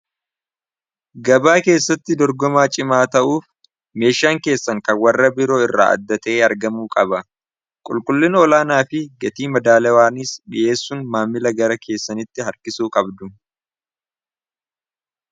gabaa keessatti dorgomaa cimaa ta'uuf meeshaan keessan kan warra biroo irraa addata'e argamuu qaba qulqullin olaanaa fi gatii madaalawaaniis dhiheessuun maammila gara keessanitti harkisuu qabdu